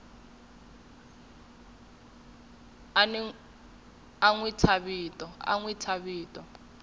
a n wi thya vito